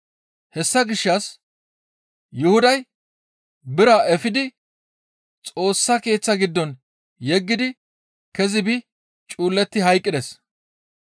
Hessa gishshas Yuhuday biraa efidi Xoossa Keeththa giddon yeggidi kezi biidi cuuletti hayqqides.